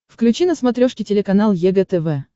включи на смотрешке телеканал егэ тв